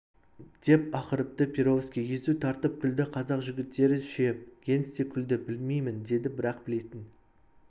деп ақырыпты перовский езу тартып күлді қазақ жігіттері ше генс те күлді білмеймін деді бірақ білетін